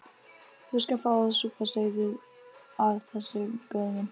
Þú skalt fá að súpa seyðið af þessu, góði minn.